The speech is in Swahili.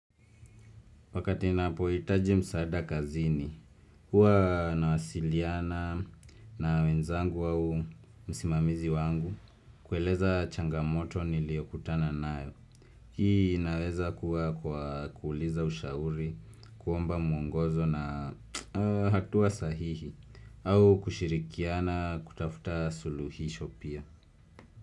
Wakati na poitaji msaada kazini, huwa na wasiliana na wenzangu au msimamizi wangu, kueleza changamoto niliokutana nayo. Hii inaweza kuwa kwa kuuliza ushauri, kuomba mwongozo na hatua sahihi, au kushirikiana kutafuta suluhisho pia.